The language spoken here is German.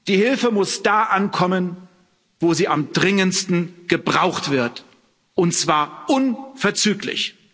Die Hilfe muss da ankommen, wo sie am dringendsten gebraucht wird, und zwar unverzüglich.